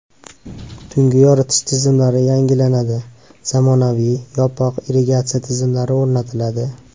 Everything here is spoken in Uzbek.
Tungi yoritish tizimlari yangilanadi, zamonaviy, yopiq irrigatsiya tizimlari o‘rnatiladi.